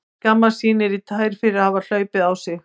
Skammast sín niður í tær fyrir að hafa hlaupið á sig.